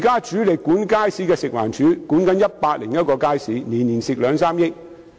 主力管理街市的食環署現正管理101個街市，每年也虧蝕兩三億元。